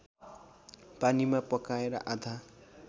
पानीमा पकाएर आधा